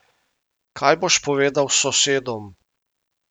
Kaj boš povedal sosedom?